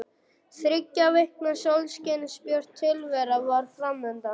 Þriggja vikna sólskinsbjört tilvera var fram undan.